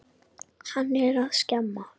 Hann er að skemma.